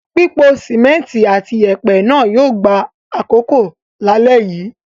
Pípo sìmẹ́ńtì àti ìyẹ̀pẹ̀ náà yóò gba àkókò lálẹ́ yìí.